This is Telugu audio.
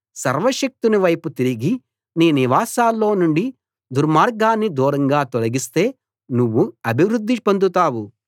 సర్వశక్తుని వైపు తిరిగి నీ నివాసాల్లో నుండి దుర్మార్గాన్ని దూరంగా తొలగిస్తే నువ్వు అభివృద్ధి పొందుతావు